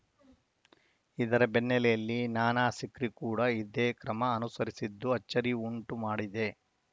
ಇದರ ಬೆನ್ನಲೆಯಲ್ಲಿ ನಾನಾ ಸಿಕ್ರಿ ಕೂಡ ಇದೇ ಕ್ರಮ ಅನುಸರಿಸಿದ್ದು ಅಚ್ಚರಿ ಉಂಟು ಮಾಡಿದೆ